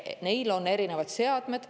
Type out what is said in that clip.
Neil on erinevad seadmed.